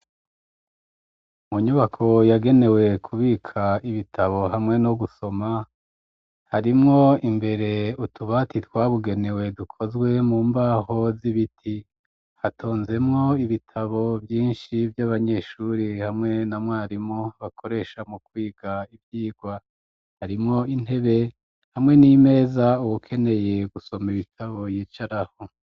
Mu nyubako yagenewe kubika ibitabo hamwe no gusoma, harimwo imbere utubati twabigenewe, dukozwe mu mbaho z'ibiti. Hatonzemwo ibitabo vyinshi vy'abanyeshure hamwe na mwarimu, bakoresha mu kwiga ivyigwa. Harimwo intebe hamwe n'imeza uwukeneye gusoma ibitabo yicarako.